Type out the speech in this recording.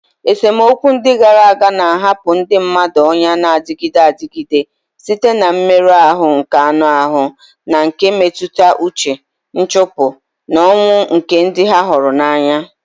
Esemokwu ndị gara aga na-ahapụ ndị mmadụ ọnyà na-adịgide adịgide site na mmerụ ahụ nke anụ ahụ na nke mmetụta uche, nchụpụ, na ọnwụ nke ndị ha hụrụ n'anya.